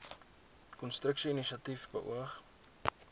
konstruksie inisiatief beoog